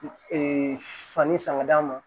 Ee sanni san ka d'a ma